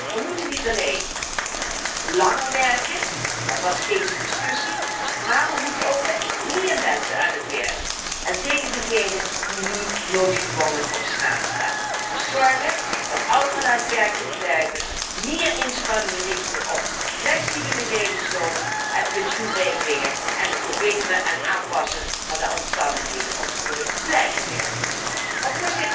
Wij moeten niet alleen langer werken dat was steeds de discussie maar wij moeten ook met meer mensen aan het werk, en zeker degenen die nu noodgedwongen op straat staan. Dus zorgen dat ouderen aan het werk kunnen blijven, meer inspanningen richten op flexibele levensloop en pensioenregelingen en het verbeteren en aanpassen van de omstandigheden om te kunnen blijven werken. Maar